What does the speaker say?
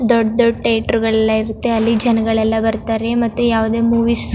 ದೊಡ್ಡ್ ದೊಡ್ಡ್ ಥಿಯೇಟರ್ ಗಳೆಲ್ಲಾ ಇರುತ್ತೆ ಅಲ್ಲಿ ಜನಗಳೆಲ್ಲಾ ಬರತ್ತರೆ ಮತ್ತೆ ಯಾವದೇ ಮೂವೀಸ್ --